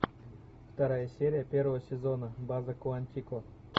вторая серия первого сезона база куантико